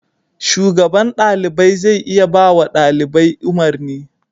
Shugaban ɗalibai zai iya bawa ɗalibai umarni.